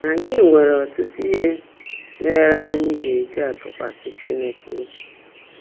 Ányị́ nwèrè ọ́tụ́tụ́ íhe méèré ányị́ gá-èjí tụ́kwasị́ Chínekè óbí.